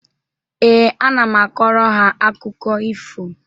Ee, ana m akọrọ ha akụkọ ifo.